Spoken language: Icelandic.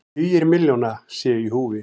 Tugir milljóna séu í húfi.